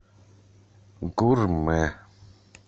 гурмэ